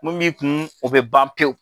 Mun b'i kun o bɛ ban pewu.